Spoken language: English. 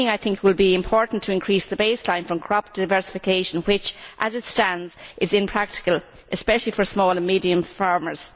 On greening, I think it will be important to increase the baseline from crop to diversification which, as it stands, is impractical, especially for small and medium farmers.